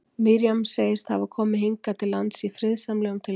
Miriam segist hafa komið hingað til lands í friðsamlegum tilgangi.